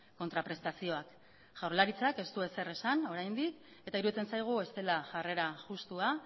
kontraprestazioak jaurlaritzak ez du ezer esan oraindik eta iruditzen zaigu ez dela jarrera justua